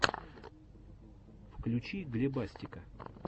включи глебастика